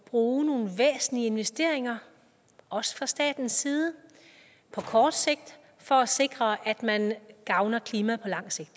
bruge nogle væsentlige investeringer også fra statens side på kort sigt for at sikre at man gavner klimaet på lang sigt